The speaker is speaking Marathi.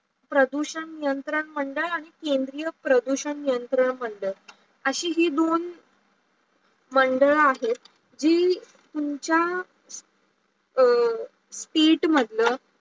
प्रदूषण नियंत्रण मंडळ आणी केंद्र पदूषण नियंत्रण मंडळ. अशी ही दोन मंडळ आहेत जे तुमचा state मंडळ